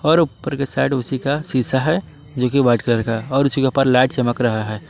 और ऊपर की साइड उसी का शीशा है जो कि व्हाइट कलर का और ऊपर लाइट चमक रहा है।